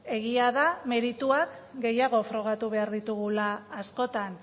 egia da merituak gehiago frogatu behar ditugula askotan